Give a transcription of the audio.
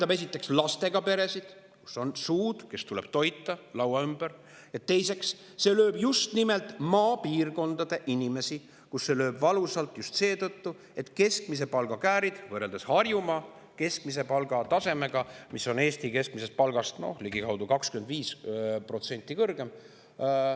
Esiteks lööb see lastega peresid, kus on laua ümber suud, keda tuleb toita, ja teiseks just nimelt maapiirkondade inimesi, kus see lööb valusalt just seetõttu, et keskmises palgas on käärid, kui võrrelda Harjumaa keskmise palga tasemega, mis on Eesti keskmisest palgast ligikaudu 25% kõrgem.